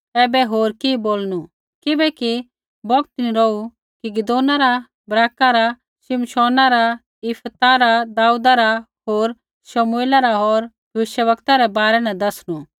ऐबै होर कि बोलणू किबैकि बौगत नी रौहू कि गिदोना रा बराका रा शिमशोना रा यिफतह रा दाऊदा रा होर शमुएला रा होर भविष्यवक्तै रै बारै न दसनू